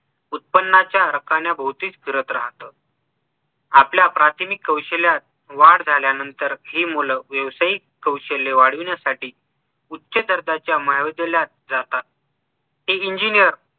उत्पानांच्या राखण्या भोवतीच फिरत राहत आपल्या प्राचीनक कौशल्यात वाढ झाल्यानंतर हि मुलं व्यवसायिक कौशल्य वाढविण्यासाठी उच्च दर्जाच्या महाविद्यालयात जातात हि engineer